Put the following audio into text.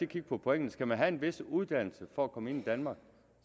kigge på pointene skal man have en vis uddannelse for at komme ind i danmark